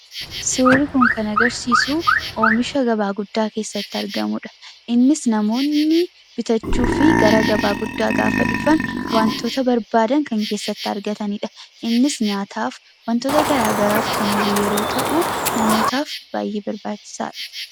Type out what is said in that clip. Suurri kun kan agarsiisu oomisha gabaa guddaa keessatti argamu dha. Innis namoonni bitachuufi gara gabaa guddaa gaafa dhufan wantoota barbaadan kan keessatti argatanidha. Innis nyaataaf, wantoota garaagaraaf kan oolu yeroo ta'u, namootaaf baay'ee barbaachisaa dha.